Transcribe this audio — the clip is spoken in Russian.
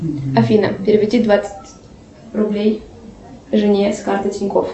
афин переведи двадцать рублей жене с карты тинькоф